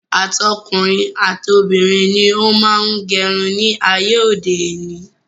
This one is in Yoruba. Àtọkùnrin, àtobìnrin ni ó má ń gẹ irun ní ayé òde òní.